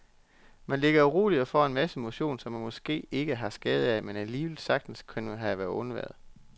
Man ligger uroligt og får en masse motion, som man måske ikke har skade af, men alligevel sagtens kunne have undværet.